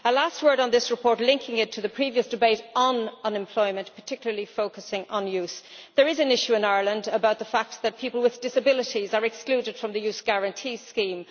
As a last word on this report, linking it to the previous debate on unemployment, particularly focusing on youth, there is an issue in Ireland about the fact that people with disabilities are excluded from the Youth Guarantee Scheme.